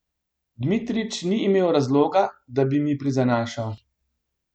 Dmitrič ni imel razloga, da bi mi prizanašal.